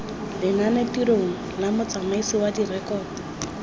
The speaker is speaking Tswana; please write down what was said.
lenanetirong la motsamaisi wa direkoto